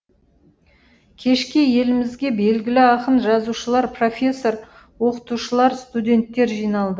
кешке елімізге белгілі ақын жазушылар профессор оқытушылар студенттер жиналды